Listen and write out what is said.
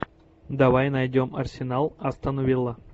давай найдем арсенал астон вилла